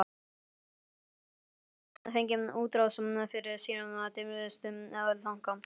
Hann hefði betur fengið útrás fyrir sína dimmustu þanka.